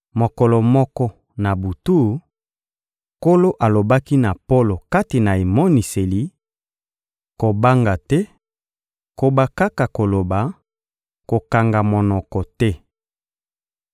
Mokolo moko, na butu, Nkolo alobaki na Polo kati na emoniseli: Kobanga te, koba kaka koloba, kokanga monoko te.